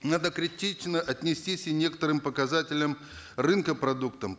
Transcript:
надо критично отнестись и некоторым показателям рынка продуктам